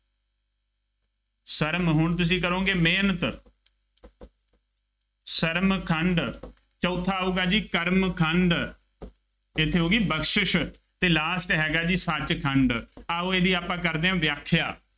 ਸਰਮ ਹੁਣ ਤੁਸੀਂ ਕਰੋਗੇ ਮਿਹਨਤ, ਸਰਮ ਖੰਡ। ਚੌਥਾ ਆਊਗਾ ਜੀ ਕਰਮ ਖੰਡ, ਇੱਥੇ ਹੋ ਗਈ ਬਖਸ਼ਿਸ਼ ਅਤੇ last ਹੈਗਾ ਜੀ ਸੱਚਖੰਡ, ਆਉ ਇਹਦੀ ਆਪਾਂ ਕਰਦੇ ਹਾਂ ਵਿਆਖਿਆ।